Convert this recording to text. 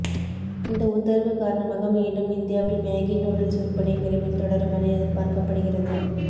இந்த உத்தரவு காரணமாக மீண்டும் இந்தியாவில் மேகி நூடுல்ஸ் விற்பனை விரைவில் தொடருமென எதிர்பார்க்கப்படுகிறது